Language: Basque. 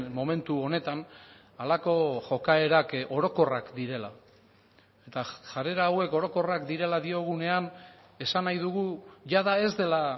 momentu honetan halako jokaerak orokorrak direla eta jarrera hauek orokorrak direla diogunean esan nahi dugu jada ez dela